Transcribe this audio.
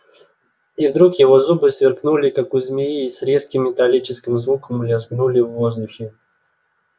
и вдруг его зубы сверкнули как у змеи и с резким металлическим звуком лязгнули в воздухе